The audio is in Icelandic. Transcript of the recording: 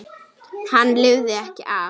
Hann lifði ekki af.